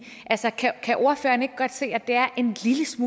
altså kan ordføreren ikke godt se at det er en